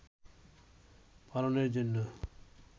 পালনের জন্য